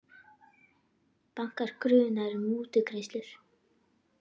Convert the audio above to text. Bankar grunaðir um mútugreiðslur